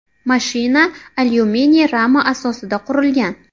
Mashina alyuminiy rama asosida qurilgan.